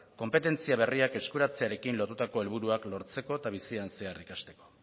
konpetentzia berriak eskuratzearekin lotutako helburuak lortzeko eta bizitzan zehar ikasteko